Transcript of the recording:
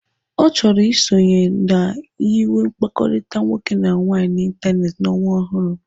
Ọ chọrọ isonye na nyiwe mkpakọrịta nwoke na nwaanyị n'ịntanetị n'ọnwa ọhụrụ.